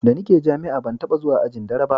da ni ke jami'a ban taba zuwa ajin dare ba